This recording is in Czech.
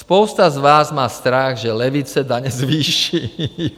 Spousta z vás má strach, že levice daně zvýší.